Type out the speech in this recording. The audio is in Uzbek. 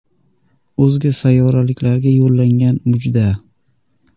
O‘zga sayyoraliklarga yo‘llangan mujda.